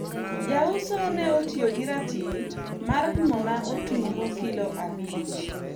jauso ne otiyo gi ratil mar pimo na otungu kilo abich